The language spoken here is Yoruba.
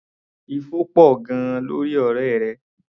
Ifo pọ̀ gan-an lórí ọ̀rẹ́ rẹ.